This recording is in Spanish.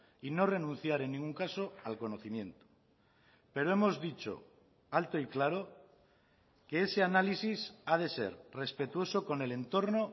y no renunciar en ningún caso al conocimiento pero hemos dicho alto y claro que ese análisis ha de ser respetuoso con el entorno